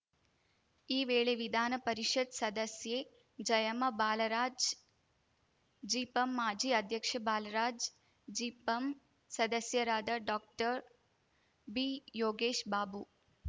ಈ ವೇಳೆ ವಿಧಾನ ಪರಿಷತ್‌ ಸದಸ್ಯೆ ಜಯಮ್ಮ ಬಾಲರಾಜ್‌ ಜಿಪಂ ಮಾಜಿ ಅಧ್ಯಕ್ಷ ಬಾಲರಾಜ್‌ ಜಿಪಂ ಸದಸ್ಯರಾದ ಡಾಕ್ಟರ್ಬಿಯೋಗೇಶ್‌ಬಾಬು